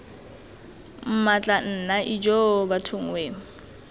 mmatla nna ijoo bathong wee